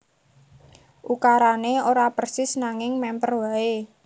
Ukarané ora persis nanging mèmper waé